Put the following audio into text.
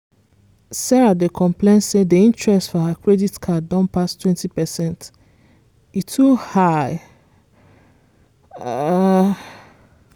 sarah dey complain say di interest for her credit card don pass 20%—e too high! um